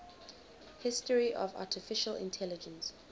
history of artificial intelligence